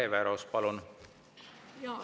Hele Everaus, palun!